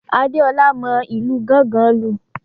Adeola mọ ìlù gángan lu.